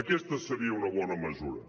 aquesta seria una bona mesura